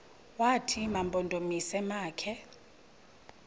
wathi mampondomise makhe